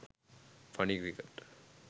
funny cricket